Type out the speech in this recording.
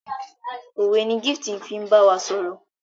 òwe ní Gift fín bawa sọrọ.